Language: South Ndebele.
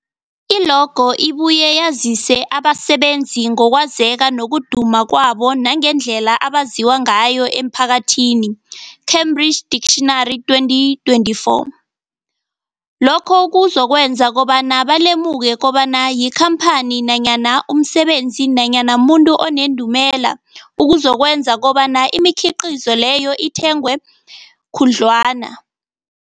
I-logo ibuye yazise abasebenzisi ngokwazeka nokuduma kwabo nangendlela abaziwa ngayo emphakathini, Cambridge Dictionary 2024. Lokho kuzokwenza kobana balemuke kobana yikhamphani nanyana umsebenzi nanyana umuntu onendumela, okuzokwenza kobana imikhiqhizo leyo ithengwe khudlwana.